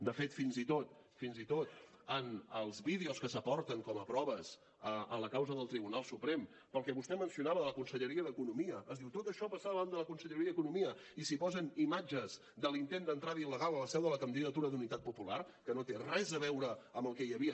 de fet fins i tot en els vídeos que s’aporten com a proves en la causa del tribunal suprem pel que vostè mencionava de la conselleria d’economia es diu tot això passava davant de la conselleria d’economia i s’hi posen imatges de l’intent d’entrada il·legal a la seu de la candidatura d’unitat popular que no té res a veure amb el que hi havia